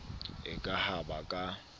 e ka ha ba ka